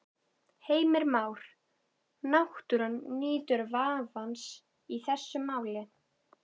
Heimir Már: Náttúran nýtur vafans í þessu máli?